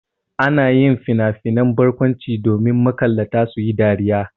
Ana yin finafinan barkwanci ne domin makallata su yi dariya.